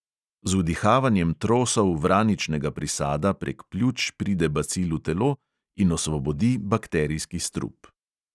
Z vdihavanjem trosov vraničnega prisada prek pljuč pride bacil v telo in osvobodi bakterijski strup.